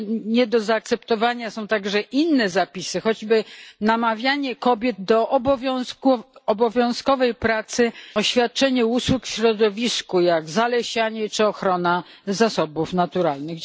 Nie do zaakceptowania są także inne zapisy, choćby namawianie kobiet do obowiązkowej pracy, świadczenie usług w środowisku jak zalesianie czy ochrona zasobów naturalnych.